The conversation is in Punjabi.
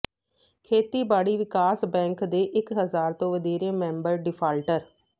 ਖੇਤੀਬਾੜੀ ਵਿਕਾਸ ਬੈਂਕ ਦੇ ਇਕ ਹਜ਼ਾਰ ਤੋਂ ਵਧੇਰੇ ਮੈਂਬਰ ਡਿਫਾਲਟਰ